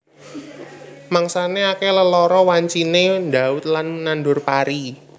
Mangsané akèh lelara wanciné ndhaut lan nandur pari